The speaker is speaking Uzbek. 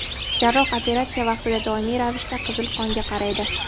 Jarroh operatsiya vaqtida doimiy ravishda qizil qonga qaraydi.